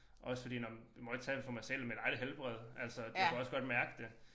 Også fordi nåh men må ikke tale for mig selv men der lidt helbred altså jeg kunne også godt mærke det